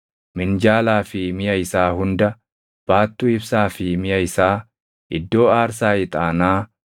minjaalaa fi miʼa isaa hunda, baattuu ibsaa fi miʼa isaa, iddoo aarsaa ixaanaa,